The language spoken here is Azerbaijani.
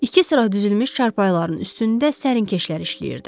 İki sıra düzülmüş çarpayıların üstündə sərinkeşlər işləyirdi.